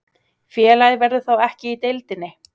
Félagið verður þá ekki í deildinni